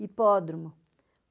Hipódromo.